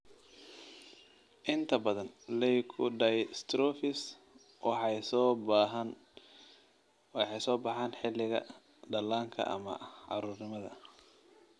Inta badan leukodystrophies waxay soo baxaan xilliga dhallaanka ama carruurnimada.